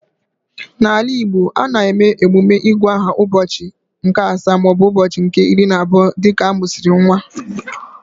N'ala Igbo, a na-eme emume igu aha ụbọchị nke asaa maọbụ ụbọchị nke iri na abụọ dịka amusiri nwa